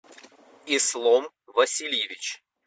ислом васильевич